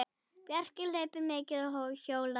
Bjarki hleypur mikið og hjólar.